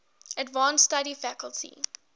advanced study faculty